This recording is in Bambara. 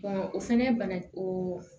o fɛnɛ bana o